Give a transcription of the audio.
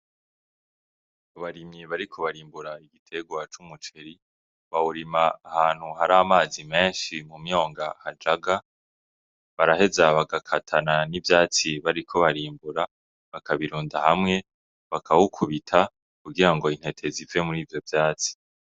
Abarimyi bariko barimbura igiterwa c'umuceri bawurima ahantu hari amazi menshi mu mwonga hajaga baraheza bagakatana n'ivyatsi bariko barimbura bakabirunda hamwe bakabikubita kugira ngo intete zive murivyo vyatsi.